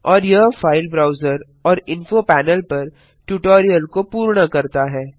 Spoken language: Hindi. और यह फाइल ब्राउजर और इंफो पैनल पर ट्यूटोरियल को पूर्ण करता है